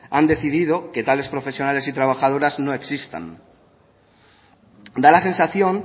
han decidido que tales profesionales y trabajadoras no existan da la sensación